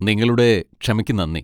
നിങ്ങളുടെ ക്ഷമക്ക് നന്ദി.